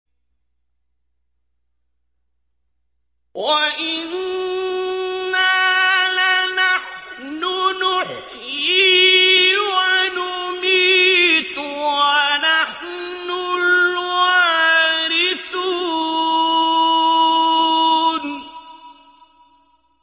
وَإِنَّا لَنَحْنُ نُحْيِي وَنُمِيتُ وَنَحْنُ الْوَارِثُونَ